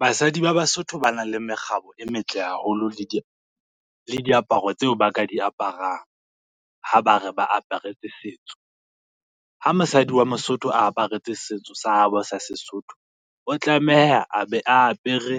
Basadi ba Basotho ba na le mekgabo e metle haholo le diaparo tseo ba ka di aparang, ha ba re ba aparetse setso. Ha mosadi wa Mosotho aparetse setso sa habo sa Sesotho o tlameha a be a apere